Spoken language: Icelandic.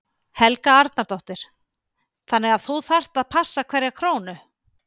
Helga Arnardóttir: Þannig að þú þarft að passa hverja krónu?